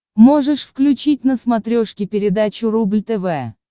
можешь включить на смотрешке передачу рубль тв